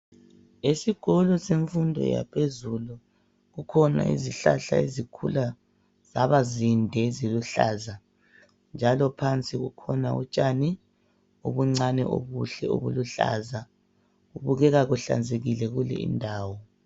Esikolo semfundo yaphezulu kukhona izihlahla ezikhula zaba zinde eziluhlaza njalo phansi kukhona utshani obuncane obuhle obuluhlaza. Kubukeka kuhlanzekile kulindawo.